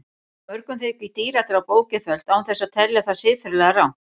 Mörgum þykir dýradráp ógeðfellt án þess að telja það siðferðilega rangt.